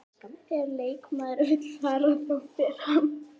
Þegar leikmaður vill fara, þá fer hann.